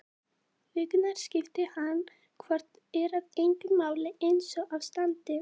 Vikurnar skipti hana hvort eð er engu máli einsog á standi.